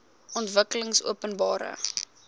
ontwikkelingopenbare